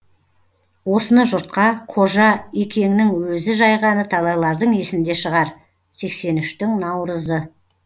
осыны жұртқа қожа екеңнің өзі жайғаны талайлардың есінде шығар сексен үштің наурызы